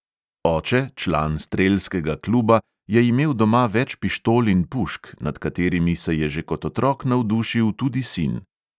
Oče, član strelskega kluba, je imel doma več pištol in pušk, nad katerimi se je že kot otrok navdušil tudi sin.